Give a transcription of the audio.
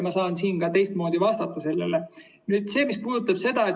Ma saan ka teistmoodi sellele vastata.